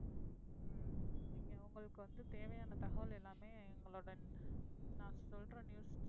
நீங்க உங்களுக்கு வந்து தேவையான தகவல் எல்லாமேஎங்களோட நான் சொல்ற news,